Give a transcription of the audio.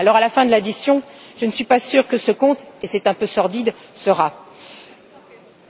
À la fin de l'addition, je ne suis pas sûre que ce compte, et c'est un peu sordide, sera